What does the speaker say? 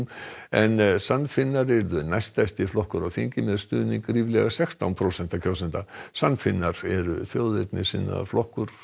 en sann Finnar yrðu næststærsti flokkur á þingi með stuðning ríflega sextán prósenta kjósenda sann Finnar eru þjóðernissinnaður flokkur